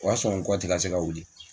O y'a sɔrɔ n kɔ tɛ ka se ka wili